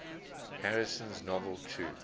harrison's novel true